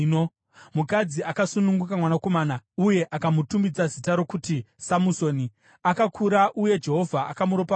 Mukadzi akasununguka mwanakomana uye akamutumidza zita rokuti Samusoni. Akakura uye Jehovha akamuropafadza,